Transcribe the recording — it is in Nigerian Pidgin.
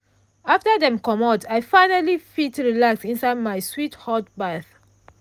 after dem comot i finally fit relax inside my sweet hot baff.